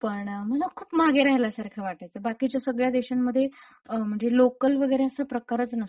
पण मला खूप मागे राहिल्यासारख वाटायचं असं बाकीच्या सगळ्या देशांमध्ये अ... म्हणजे लोकल लोकल वगैरे असा प्रकारचं नसतो.